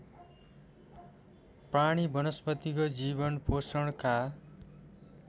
प्राणी वनस्पतिको जीवनपोषणका